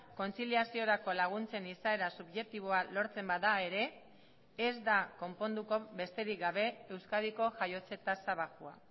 kontziliaziorako laguntzen izaera subjektiboa lortzen bada ere ez da konponduko besterik gabe euskadiko jaiotze tasa baxua